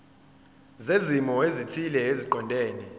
zezimo ezithile eziqondene